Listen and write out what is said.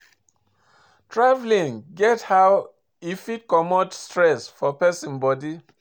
Travelling get how e fit take comot stress for person body